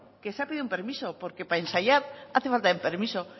que se ha pedido un permiso porque para ensayar hace falta un permiso